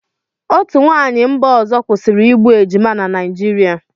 Otu nwaanyị mba ọzọ kwụsịrị igbu ejima na Naịjirịa.